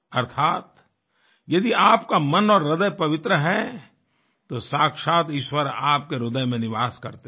अर्थात यदि आपका मन और ह्रदय पवित्र है तो साक्षात् ईश्वर आपके ह्रदय में निवास करते हैं